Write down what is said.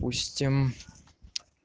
устиим